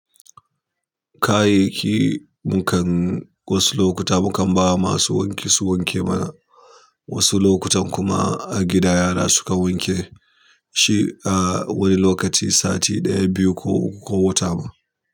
Kayayyaki mu kan wasu lokuta mu kan ba ma su wanke su wanke mana, wasu lokutan kuma a gida yara su ka wanke shi a wani lokaci sati ɗaya, biyu ko uku ko wata ma.